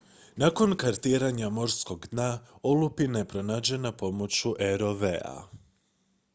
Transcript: nakon kartiranja morskog dna olupina je pronađena pomoću rov-a